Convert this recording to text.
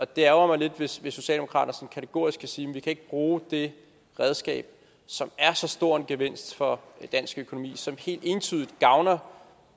det ærgrer mig lidt hvis socialdemokratiet kategorisk kan sige at de ikke kan bruge det redskab som er så stor en gevinst for dansk økonomi og som helt entydigt gavner